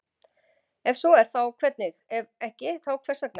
Ef svo er þá hvernig, ef ekki þá hvers vegna?